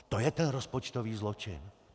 A to je ten rozpočtový zločin!